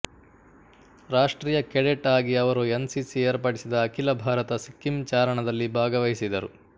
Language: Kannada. ರಾಷ್ಟೀಯ ಕೆಡೆಟ್ ಆಗಿ ಅವರು ಎನ್ ಸಿ ಸಿ ಏರ್ಪಡಿಸಿದ ಅಖಿಲ ಭಾರತ ಸಿಕ್ಕಿಂ ಚಾರಣದಲ್ಲಿ ಭಾಗವಹಿಸಿದರು